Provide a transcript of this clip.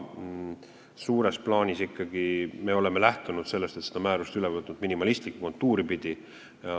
Suures plaanis me oleme ikkagi lähtunud sellest, et oleme selle määruse üle võtnud minimalistlikumat tuuri pidi.